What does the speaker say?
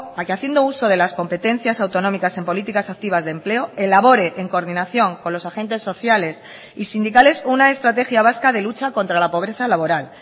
a que haciendo uso de las competencias autonómicas en políticas activas de empleo elabore en coordinación con los agentes sociales y sindicales una estrategia vasca de lucha contra la pobreza laboral